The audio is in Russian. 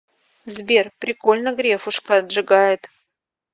сбер прикольно грефушка отжигает